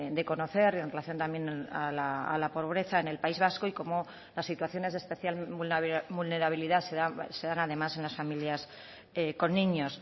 de conocer y en relación también a la pobreza en el país vasco y cómo las situaciones de especial vulnerabilidad se dan además en las familias con niños